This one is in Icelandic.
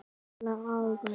Spila agað!